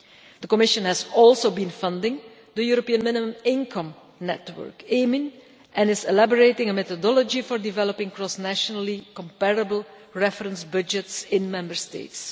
The Commission has also been funding the European minimum income network, and is elaborating a methodology for developing cross nationally comparable reference budgets in Member States.